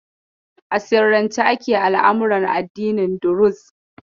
A sirrance ake al'amuran addinin Duruz.